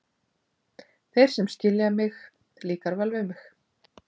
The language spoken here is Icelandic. Þeir sem skilja mig, líkar vel við mig.